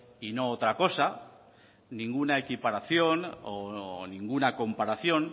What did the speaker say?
y no otra cosa ninguna equiparación o ninguna comparación